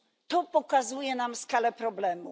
To pokazuje nam skalę problemu.